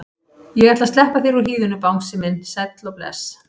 Ég ætla að sleppa þér úr hýðinu bangsi minn sæll og bless.